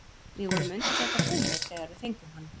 Við vorum undir þetta búnir þegar við fengum hann.